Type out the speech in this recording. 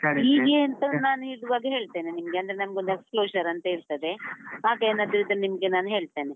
ಅಂತವೆ ನಾನಿರುವಾಗ ಹೇಳ್ತೇನೆ ನಿಮ್ಗೆ ಅಂದ್ರೆ ನಮ್ಗೊಂದು ಅಂತ ಇರ್ತದೆ, ಹಾಗೇನಾದ್ರು ಇದ್ರೆ ನಿಮ್ಗೆ ನಾನು ಹೇಳ್ತೇನೆ.